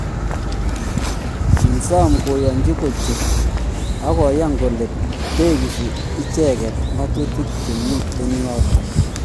Kisom kooyonchi kochut ago yan kole tegisi icheget ngatutik che miten yoton.